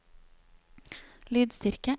lydstyrke